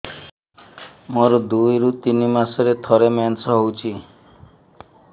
ମୋର ଦୁଇରୁ ତିନି ମାସରେ ଥରେ ମେନ୍ସ ହଉଚି